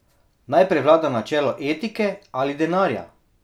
Naj prevlada načelo etike ali denarja?